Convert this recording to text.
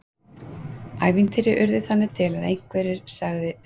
Ævintýri urðu þannig til að einhver sagði sögu.